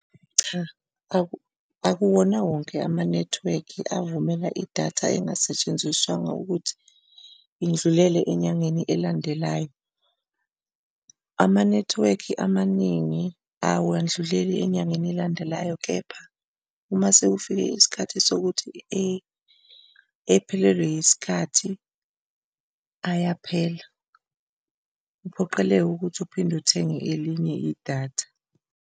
Cha, akuwona wonke amanethiwekhi evumela idatha engasetshenziswanga ukuthi indlulele enyangeni elandelayo. Amanethiwekhi amaningi awandluleli enyangeni elandelayo, kepha uma sekufike isikhathi sokuthi ephelelwe yisikhathi ayaphela, kuphoqeleke ukuthi uphinde uthenge elinye idatha.